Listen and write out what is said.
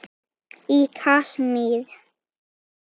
Í Kasmír